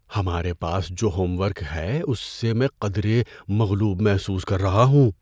ہمارے پاس جو ہوم ورک ہے اس سے میں قدرے مغلوب محسوس کر رہا ہوں۔